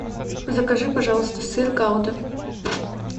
закажи пожалуйста сыр гауда